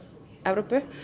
Evrópu